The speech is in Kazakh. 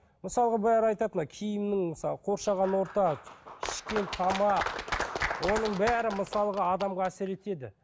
мысалғы бәрі айтады мына киімнің мысалы қоршаған орта ішкен тамақ оның бәрі мысалға адамға әсер етеді